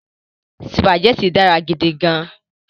Sùpàgẹ́tì dára gidi gan-an